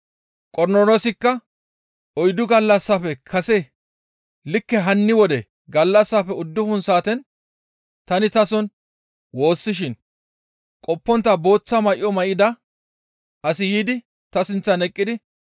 Qornoloosikka, «Oyddu gallassafe kase likke hanni wode gallassaafe uddufun saaten tani tason woossishin qoppontta booththa may7o may7ida asi yiidi ta sinththan eqqidi